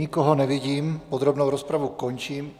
Nikoho nevidím, podrobnou rozpravu končím.